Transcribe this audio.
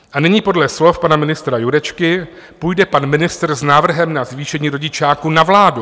A nyní podle slov pana ministra Jurečky půjde pan ministr s návrhem na zvýšení rodičáku na vládu.